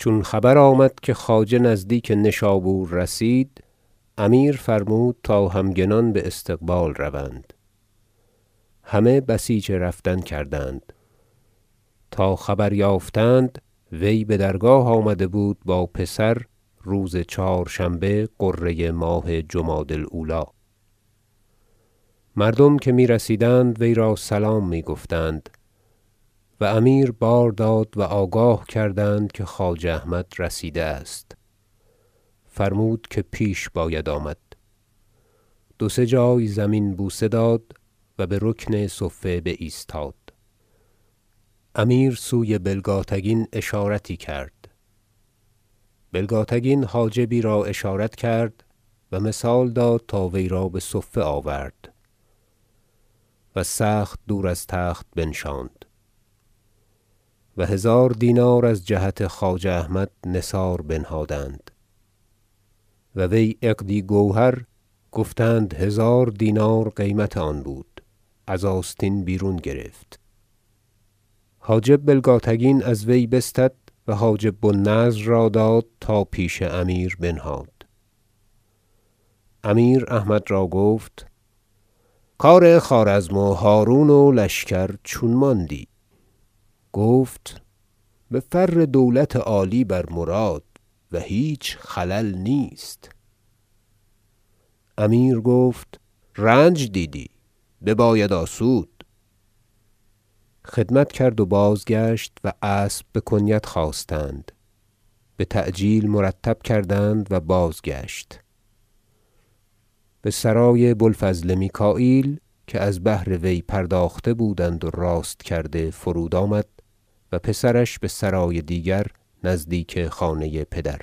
چون خبر آمد که خواجه نزدیک نشابور رسید امیر فرمود تا همگنان باستقبال روند همه بسیچ رفتن کردند تا خبر یافتند وی بدرگاه آمده بود با پسر روز چهارشنبه غره ماه جمادی الاولی مردم که میرسیدند وی را سلام می گفتند و امیر بار داد و آگاه کردند که خواجه احمد رسیده است فرمود که پیش باید آمد دو سه جای زمین بوسه داد و به رکن صفه بایستاد امیر سوی بلگاتگین اشارتی کرد بلگاتگین حاجبی را اشارت کرد و مثال داد تا وی را بصفه آورد و سخت دور از تخت بنشاند و هزار دینار از جهت خواجه احمد نثار بنهادند و وی عقدی گوهر- گفتند هزار دینار قیمت آن بود- از آستین بیرون گرفت حاجب بلگاتگین از وی بستد و حاجب بو النضر را داد تا پیش امیر بنهاد امیر احمد را گفت کار خوارزم و هرون و لشکر چون ماندی گفت بفر دولت عالی بر مراد و هیچ خلل نیست امیر گفت رنج دیدی بباید آسود خدمت کرد و بازگشت و اسب بکنیت خواستند بتعجیل مرتب کردند و بازگشت بسرای بوالفضل میکاییل که از بهر وی پرداخته بودند و راست کرده فرود آمد و پسرش بسرای دیگر نزدیک خانه پدر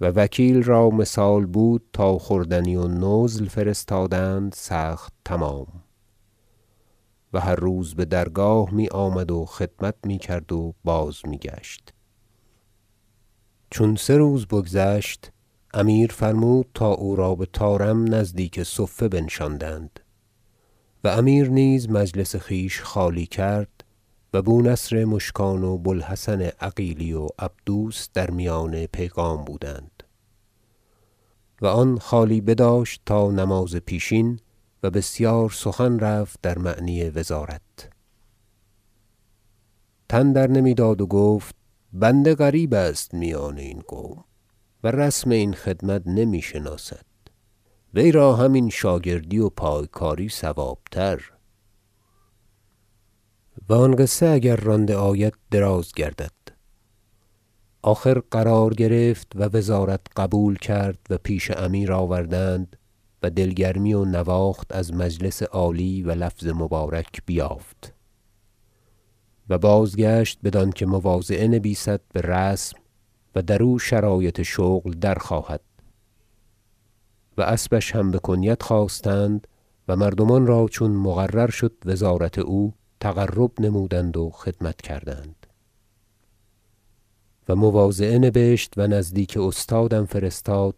و وکیل را مثال بود تا خوردنی و نزل فرستادند سخت تمام و هر روز بدرگاه میآمد و خدمت میکرد و بازمیگشت چون سه روز بگذشت امیر فرمود تا او را بطارم نزدیک صفه بنشاندند و امیر نیز مجلس خویش خالی کرد و بو نصر مشکان و بو الحسن عقیلی و عبدوس در میان پیغام بودند و آن خالی بداشت تا نماز پیشین و بسیار سخن رفت در معنی وزارت تن درنمیداد و گفت بنده غریب است میان این قوم و رسم این خدمت نمی شناسد وی را همین شاگردی و پایکاری صوابتر- و آن قصه اگر رانده آید دراز گردد- آخر قرار گرفت و وزارت قبول کرد و پیش امیر آوردند و دل گرمی و نواخت از مجلس عالی و لفظ مبارک بیافت و بازگشت بدانکه مواضعه نبیسد برسم و درو شرایط شغل درخواهد و اسبش هم بکنیت خواستند و مردمان را چون مقرر شد وزارت او تقرب نمودند و خدمت کردند و مواضعه نبشت و نزدیک استادم فرستاد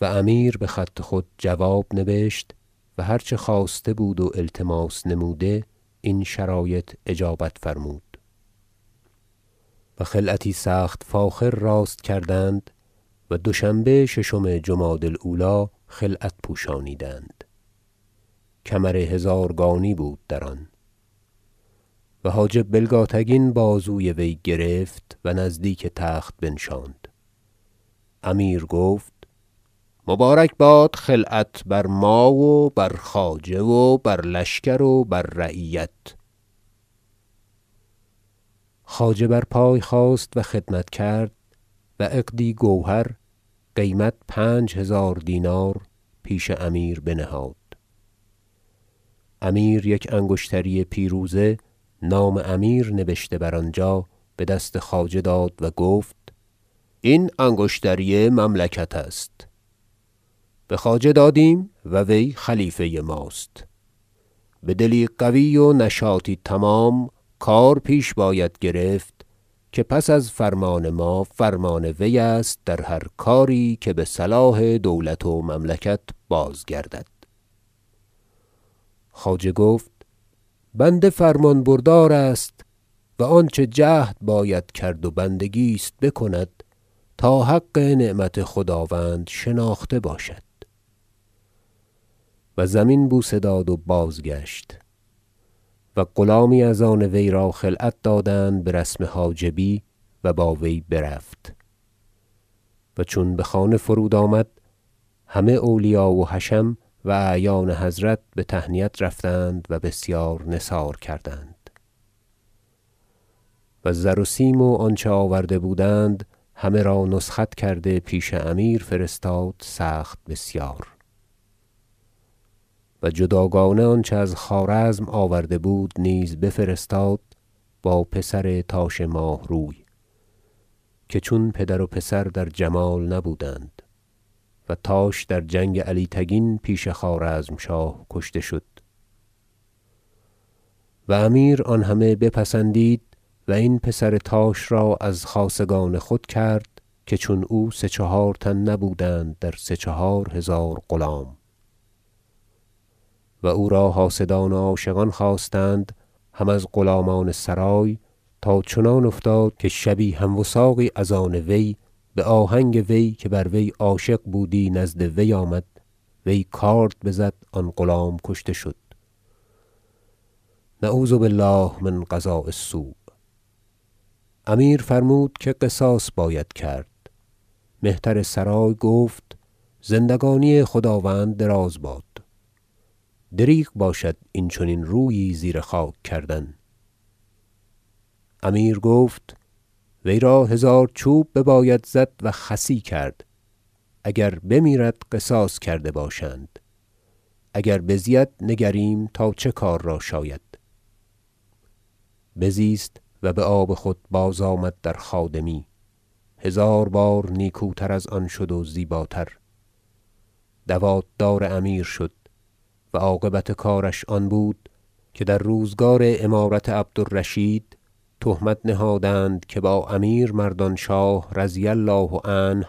و امیر بخط خود جواب نبشت و هر چه خواسته بود و التماس نموده این شرایط اجابت فرمود و خلعتی سخت فاخر راست کردند و دوشنبه ششم جمادی الاولی خلعت پوشانیدند کمر هزارگانی بود در آن و حاجب بلگاتگین بازوی وی گرفت و نزدیک تخت بنشاند امیر گفت مبارک باد خلعت بر ما و بر خواجه و بر لشکر و بر رعیت خواجه بر پای خاست و خدمت کرد و عقدی گوهر قیمت پنج هزار دینار پیش امیر بنهاد امیر یک انگشتری پیروزه نام امیر نبشته بر آنجا بدست خواجه داد و گفت این انگشتری مملکت است به خواجه دادیم و وی خلیفه ماست بدلی قوی و نشاطی تمام کار پیش باید گرفت که پس از فرمان ما فرمان وی است در هر کاری که بصلاح دولت و مملکت بازگردد خواجه گفت بنده فرمان بردار است و آنچه جهد باید کرد و بندگی است بکند تا حق نعمت خداوند شناخته باشد و زمین بوسه داد و بازگشت و غلامی از آن وی را خلعت دادند برسم حاجبی و با وی برفت و چون بخانه فرود آمد همه اولیا و حشم اعیان حضرت بتهنیت رفتند و بسیار نثار کردند و زر و سیم و آنچه آورده بودند همه را نسخت کرده پیش امیر فرستاد سخت بسیار و جداگانه آنچه از خوارزم آورده بود نیز بفرستاد با پسر تاش ماهروی که چون پدر و پسر در جمال نبودند - و تاش در جنگ علی تگین پیش خوارزمشاه کشته شد و امیر آن همه پسندید و این پسر تاش را از خاصگان خود کرد که چون او سه چهار تن نبودند در سه چهار هزار غلام و او را حاسدان و عاشقان خاستند هم از غلامان سرای تا چنان افتاد که شبی هم وثاقی از آن وی بآهنگ وی- که بر وی عاشق بودی- نزد وی آمد وی کارد بزد آن غلام کشته شد- نعوذ بالله من قضاء السوء - امیر فرمود که قصاص باید کرد مهتر سرای گفت زندگانی خداوند دراز باد دریغ باشد این چنین رویی زیر خاک کردن امیر گفت وی را هزار چوب بباید زد و خصی کرد اگر بمیرد قصاص کرده باشند اگر بزید نگریم تا چه کار را شاید بزیست و بآب خود بازآمد در خادمی هزار بار نیکوتر از آن شد و زیباتر دوات دار امیر شد و عاقبت کارش آن بود که در روزگار امارت عبد الرشید تهمت نهادند که با امیر مردانشاه رضی الله عنه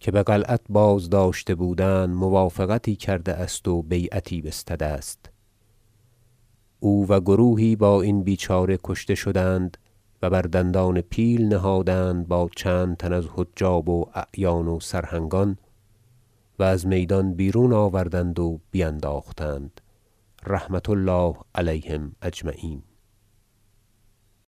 که بقلعت بازداشته بودند موافقتی کرده است و بیعتی بستده است او و گروهی با این بیچاره کشته شدند و بر دندان پیل نهادند با چند تن از حجاب و اعیان و سرهنگان و از میدان بیرون آوردند و بینداختند رحمة الله علیهم اجمعین